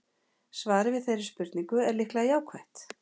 Svarið við þeirri spurningu er líklega jákvætt.